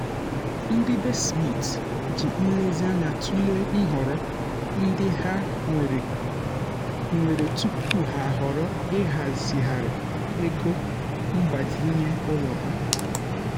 ndị be smith ji nlezianya tụlee nhọrọ ndị ha nwere nwere tupu ha ahọrọ ịhazigharị ego mgbazinye ụlọ ha.